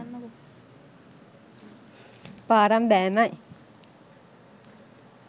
පාරම් බෑමයි.